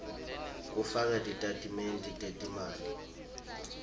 kufaka titatimende tetimali